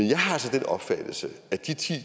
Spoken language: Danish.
den opfattelse at de